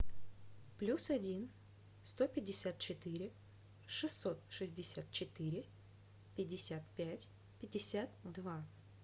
плюс один сто пятьдесят четыре шестьсот шестьдесят четыре пятьдесят пять пятьдесят два